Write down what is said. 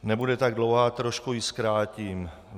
Nebude tak dlouhá, trochu ji zkrátím.